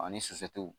Ani sufɛw